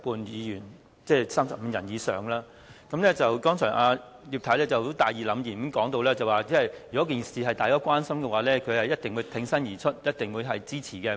葉劉淑儀議員剛才大義凜然的說，如果事件是大家關心的話，她一定會挺身而出支持。